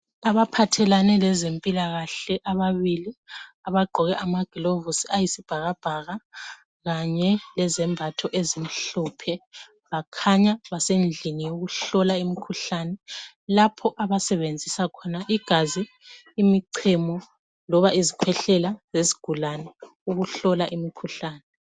Abaphathelane lezempilakahle ababili abagqoke amagilovusi ayisibhakabhaka kanye lezembatho ezimhlophe, bakhanya basendlini yokuhlola imikhuhlane, lapho abasebenzisa khona igazi, imichemo, loba izikhwehlela zesigulane ukuhlola imikhuhlane.